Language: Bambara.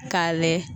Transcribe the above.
K'a layɛ